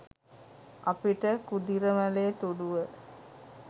අපිට කුදිරමලේ තුඩුව